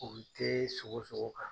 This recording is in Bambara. U tɛ sogo sogo kan.